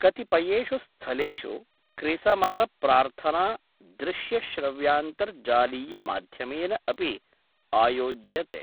कतिपयेषु स्थलेषु क्रिसमसप्रार्थना दृश्यश्रव्यान्तर्जालीयमाध्यमेन अपि आयोज्यते।